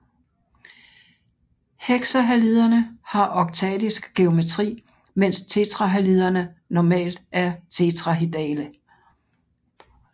Hexahaliderne har oktaedisk geometri mens tetrahaliderne normalt er tetrahedrale